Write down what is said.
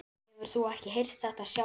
Hefur þú ekki heyrt þetta sjálf?